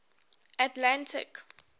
atlantic